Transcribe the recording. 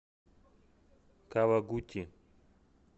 кавагути